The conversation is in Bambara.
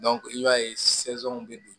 i b'a ye bɛ